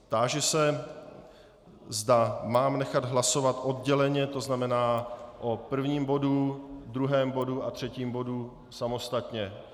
Táži se, zda mám nechat hlasovat odděleně, to znamená o prvním bodu, druhém bodu a třetím bodu samostatně.